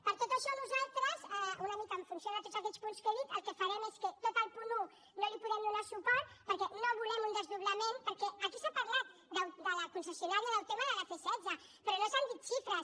per tot això nosaltres una mica en funció de tots aquests punts que he dit el que farem és que a tot el punt un no hi podrem donar suport perquè no volem un desdoblament perquè aquí s’ha parlat de la concessionària d’autema de la c setze però no se n’han dit xifres